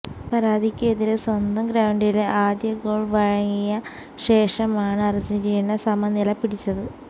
പരാഗ്വെയ്ക്കെതിരെ സ്വന്തം ഗ്രൌണ്ടില് ആദ്യഗോള് വഴങ്ങിയ ശേഷമാണ് അര്ജന്റീന സമനില പിടിച്ചത്